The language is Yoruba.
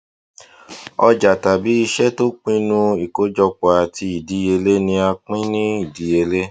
òjà tàbí iṣẹ tó pinnu ìkójọpọ àti ìdíyelé ni a pè ní ìdíyelé